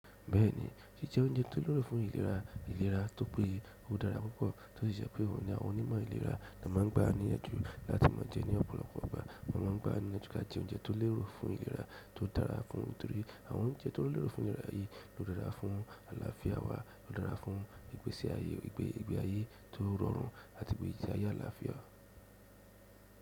Bẹ́ẹ̀ni, jíjẹ oúnjẹ tó lérò fún ìlera ìlera tó péye ó dára púpọ̀, tó sì ṣe pé òun ni àwọn onímọ̀ ìlera la máa ń gba níyànjú láti máa jẹ ní ọ̀pọ̀lọpọ̀ àgbà. Wọ́n máa ń gba ní láti ka jẹ oúnjẹ tó lérò fún ìlera tó dára fún un torí àwọn oúnjẹ tó lérò fún ìlera yìí ló dára fún àlàáfíà wa, ó dára fún ìgbésí ayé, ìgbẹ́ ìgbẹ́ ayé tó rọrùn àti pé ìjìyà àlàáfíà.